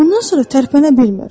Bundan sonra tərpənə bilmir.